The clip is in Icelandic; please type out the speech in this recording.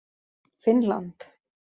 Finnland